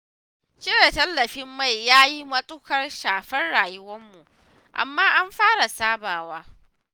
Cire tallafin mai ya yi matuƙar shafar rayuwarmu, amma an fara sabawa.